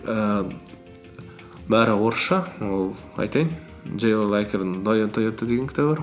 ііі бәрі орысша ол айтайын тойота деген кітабы бар